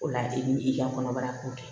O la i b'i ka kɔnɔbara kun kɛ